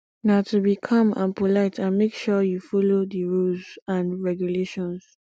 na to be calm and polite and make sure you follow di rules and regulations